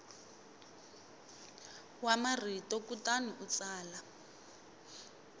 wa marito kutani u tsala